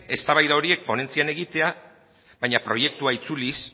eztabaida horiek ponentzian egitea baina proiektua itzuliz